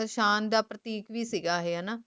ਸ਼ਾਨ ਦਾ ਪ੍ਰਤੀਕ ਵੀ ਸੀਗਾ ਏਹੀ ਹਾਨਾ